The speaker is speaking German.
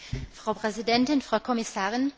Frau Präsidentin, Frau Kommissarin!